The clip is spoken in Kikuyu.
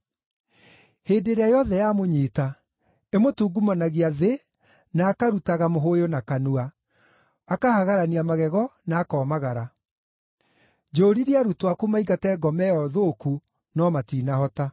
Hĩndĩ ĩrĩa yothe yamũnyiita, ĩmũtungumanagia thĩ na akarutaga mũhũyũ na kanua, akahagarania magego na akomagara. Njũũririe arutwo aku maingate ngoma ĩyo thũku, no matinahota.”